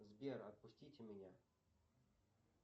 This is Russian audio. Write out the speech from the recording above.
сбер отпустите меня